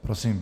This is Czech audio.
Prosím.